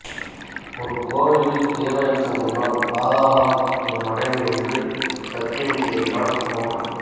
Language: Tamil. ஒரு கோவிலில் இறைவனுக்கு முன்னால் ராதா தான் தன் மனைவி என்று சத்தியம் செய்கிறான் மோகன்